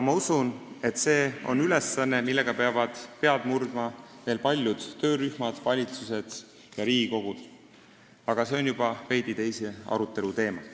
Ma usun, et see on ülesanne, mille kallal peavad pead murdma veel paljud töörühmad, valitsused ja Riigikogud, aga see on juba veidi teise arutelu teema.